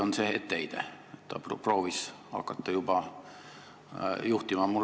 Kas see etteheide on sedapidi, et ta proovis hakata liiga vara juhtima?